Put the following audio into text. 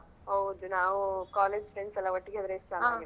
ಹೌದು ನಾವ್ college friends ಎಲ್ಲಾ ಒಟ್ಟಿಗೆ ಇದ್ರೇಸ ಇಷ್ಟ ಹಾ ಆಗಿರುತ್ತೆ ಅಲ